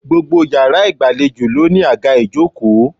Gbogbo yàrá ìgbàlejò ló ní àga ìjókòó